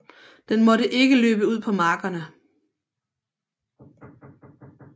Den måtte ikke løbe ud på markerne